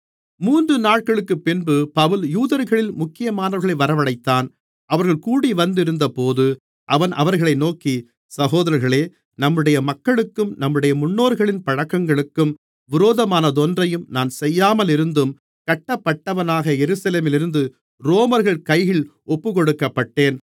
மூன்று நாட்களுக்குப்பின்பு பவுல் யூதர்களில் முக்கியமானவர்களை வரவழைத்தான் அவர்கள் கூடிவந்திருந்தபோது அவன் அவர்களை நோக்கி சகோதரர்களே நம்முடைய மக்களுக்கும் நம்முடைய முன்னோர்களின் பழக்கங்களுக்கும் விரோதமானதொன்றையும் நான் செய்யாமலிருந்தும் கட்டப்பட்டவனாக எருசலேமிலிருந்து ரோமர்கள் கைகளில் ஒப்புக்கொடுக்கப்பட்டேன்